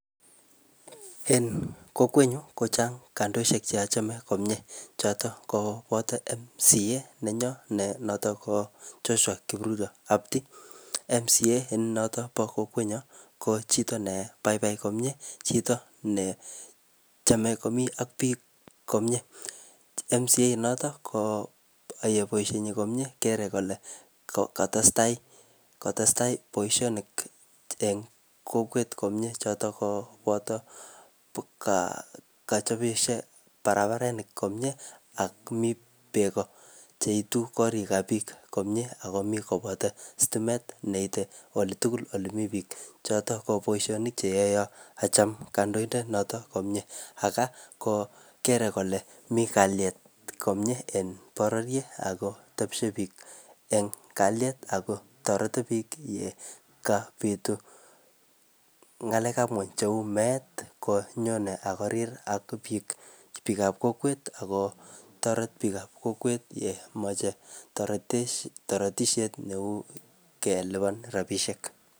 En kokwet nyu, kochang kandoishek che achame komyee. Chotok koboto MCA nenyo ne notok ko Joshua Kipruto Kapti. MCA notok bo kokwet nyo, ko chito ne baibai komyee, chito ne chame komii ak biik komyee. MCA inotok, koyae boisoni komyee. Kere kole katestai, katestai boisonik, eng kokwet komyee. Chotok ko boto kachopishet barabarenik komyee, ak mii beek ko cheitu korik ak biik komyee, ako mii koboto stimet neite ole tugul ole mii biik. Chotok ko boisonik che yae acham kandoindet notok komyee. Aga ko kere kole mii kalyet komyee en bororiet akotepshe biik eng kalyet, akotoreti biik yekapitu ngalek ap nguny cheuu meet konyone akorir ak biik, biikab kokwet, akotoret biik ab kokwet yemache toretet toretishet neu kelipan rabisiek.